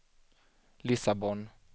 Lissabon